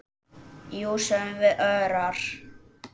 Jú, sögðum við örar.